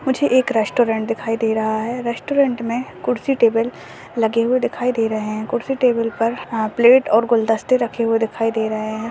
मुझे एक रेस्टोरेंट दिखाई दे रहा है रेस्टोरेंट में कुर्सी टेबल लगे हुए दिखाई दे रहे हैं कुर्सी टेबल पर हा प्लेट और गुलदस्ते रखे हुए दिखाई दे रहे हैं।